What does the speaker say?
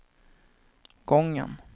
gången